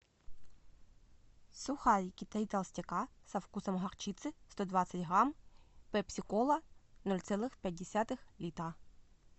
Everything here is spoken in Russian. сухарики три толстяка со вкусом горчицы сто двадцать грамм пепси кола ноль целых пять десятых литра